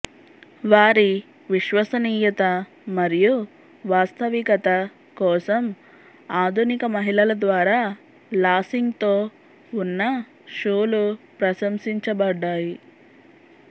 వారి విశ్వసనీయత మరియు వాస్తవికత కోసం ఆధునిక మహిళల ద్వారా లాసింగ్తో ఉన్న షూలు ప్రశంసించబడ్డాయి